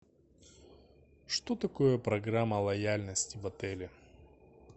что такое программа лояльности в отеле